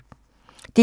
DR1